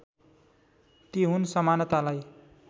ती हुन् समानतालाई